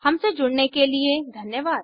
हमसे जुड़ने के लिए धन्यवाद